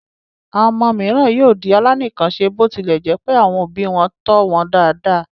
Àwọn ọmọ mìíràn yóò di aláìníkanṣe bó tilẹ̀ jẹ́ pé àwọn òbí wọn tọ́ wọn dáadáa.